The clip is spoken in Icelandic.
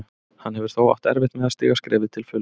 Hann hefur þó átt erfitt með að stíga skrefið til fulls.